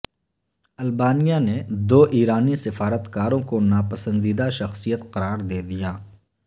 البانیہ نے دو ایرانی سفارت کاروں کو ناپسندیدہ شخصیت قرار دے دیا